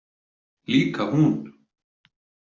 Líka hún.